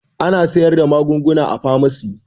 Ana sayar da magunguna a famasi